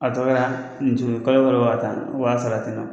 A tɔgɔ kɛra nin tunu kalo waa tan o b'a sara ten nɔ